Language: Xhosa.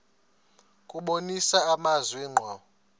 kubonisa amazwi ngqo